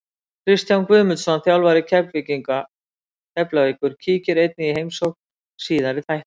Kristján Guðmundsson, þjálfari Keflavíkur, kíkir einnig í heimsókn síðar í þættinum.